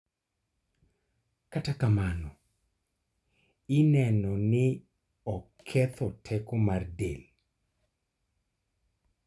Kata kamano, ineno ni oketho teko mar del